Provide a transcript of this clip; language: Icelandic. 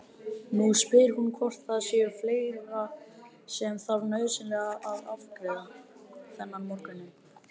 Nú spyr hún hvort það sé fleira sem þarf nauðsynlega að afgreiða þennan morguninn.